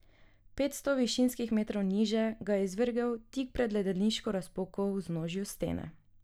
Petsto višinskih metrov niže ga je izvrgel tik pred ledeniško razpoko v vznožju stene.